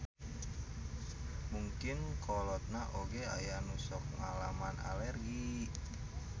Mungkin kolotna oge aya nu sok ngalaman alergi.